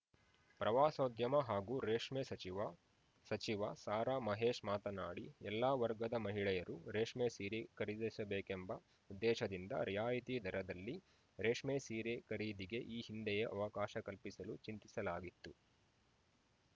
ಪ್ರವಾಸೋದ್ಯಮ ಹಾಗೂ ರೇಷ್ಮೆ ಸಚಿವ ಸಚಿವ ಸಾರಾ ಮಹೇಶ್‌ ಮಾತನಾಡಿ ಎಲ್ಲಾ ವರ್ಗದ ಮಹಿಳೆಯರು ರೇಷ್ಮೆ ಸೀರೆ ಖರೀದಿಸಬೇಕೆಂಬ ಉದ್ದೇಶದಿಂದ ರಿಯಾಯಿತಿ ದರದಲ್ಲಿ ರೇಷ್ಮೆ ಸೀರೆ ಖರೀದಿಗೆ ಈ ಹಿಂದೆಯೇ ಅವಕಾಶ ಕಲ್ಪಿಸಲು ಚಿಂತಿಸಲಾಗಿತ್ತು